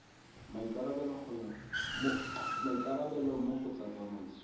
maikarabelo mo go tsa tsamaiso